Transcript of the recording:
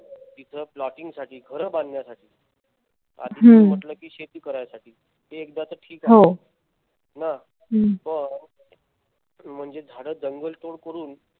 तिथ ploting साठी घर बांधण्यासाठी आधी तुम्ही म्हंटल कि शेती करायसाठी ते एकदाच ठीक आहे. हम्म पण म्हणजे झाड जंगल तोड करून